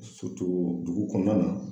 dugu kɔnɔna na.